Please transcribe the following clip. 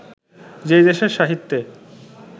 যে দেশের সাহিত্যে